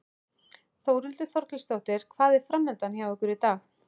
Þórhildur Þorkelsdóttir: Hvað er framundan hjá ykkur í dag?